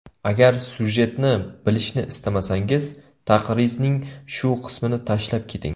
Agar syujetni bilishni istamasangiz, taqrizning shu qismini tashlab keting.